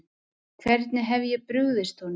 Hvernig hef ég brugðist honum?